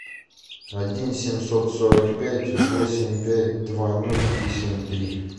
один семьсот сорок пять восемь пять два ноль три семь три